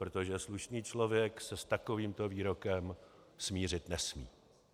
Protože slušný člověk se s takovýmto výrokem smířit nesmí.